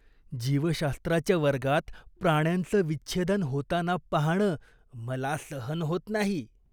जीवशास्त्राच्या वर्गात प्राण्यांचं विच्छेदन होताना पाहणं मला सहन होत नाही.